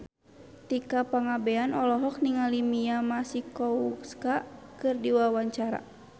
Tika Pangabean olohok ningali Mia Masikowska keur diwawancara